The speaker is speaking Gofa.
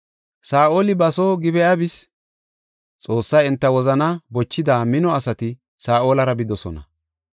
Saa7oli ba soo Gib7a bis; Xoossay enta wozanaa bochida mino asati Saa7olara bidosona.